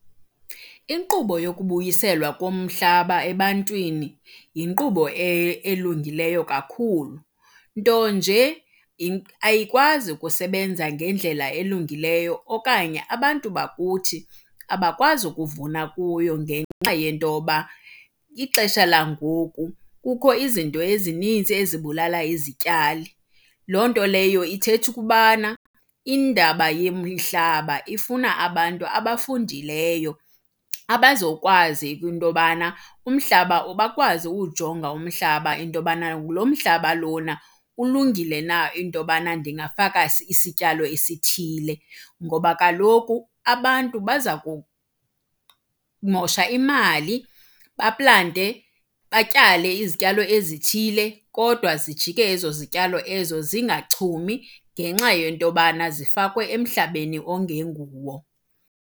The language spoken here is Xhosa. Inkqubo yokubuyiselwa komhlaba ebantwini yinkqubo elungileyo kakhulu. Nto nje ayikwazi ukusebenza ngendlela elungileyo okanye abantu bakuthi abakwazi ukuvuna kuyo ngenxa yento yoba ixesha langoku kukho izinto ezininzi ezibulala izityalo. Loo nto leyo ithetha ukuba indaba yomhlaba ifuna abantu abafundileyo abazokwazi kwinto yobana umhlaba, bakwazi ukuwujonga umhlaba into yobana lo mhlaba lona ulungile na into yobana ndingafaka isityalo esithile. Ngoba kaloku abantu baza kumosha imali baplante batyale izityalo ezithile kodwa zijike ezo zityalo ezo zingachumi ngenxa yento yobana zifakwe emhlabeni ongenguwo.